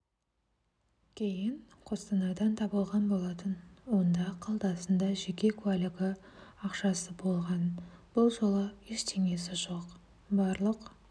кейін қостанайдан табылған болатын онда қалтасында жеке куәлігі ақшасы болған бұл жолы ештеңесі жоқ барлық